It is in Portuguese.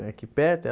É aqui perto? Aí ela